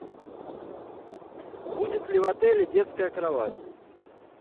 будет ли в отеле детская кровать